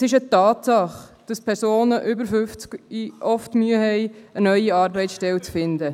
Es ist eine Tatsache, dass Personen über 50 Jahre oft Mühe haben, eine neue Arbeitsstelle zu finden.